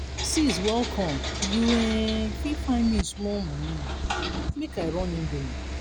sis welcome you um fit find me small moni make i run indomie?